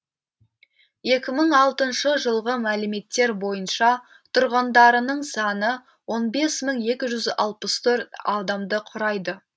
екі мың алтыншы жылғы мәліметтер бойынша тұрғындарының саны он бес мың екі жүз алпыс төрт адамды құрайды